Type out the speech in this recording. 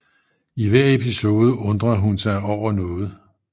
I hver episode undre hun sig over noget